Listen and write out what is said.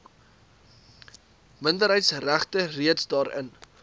minderheidsregte reeds daarin